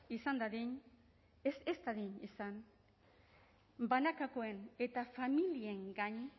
ez dadin izan banakakoen eta familien gain